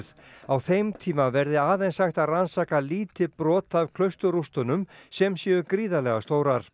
á þeim tíma verði aðeins hægt að rannsaka lítið brot af klausturrústunum sem séu gríðarlega stórar